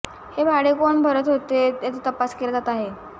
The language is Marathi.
हे भाडे कोण भरत होते याचा तपास केला जात आहे